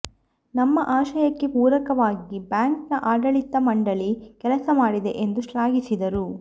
ನಮ್ಮ ಆಶಯಕ್ಕೆ ಪೂರಕವಾಗಿ ಬ್ಯಾಂಕ್ ನ ಆಡಳಿತ ಮಂಡಳಿ ಕೆಲಸ ಮಾಡಿದೆ ಎಂದು ಶ್ಲಾಘಿಸಿದರು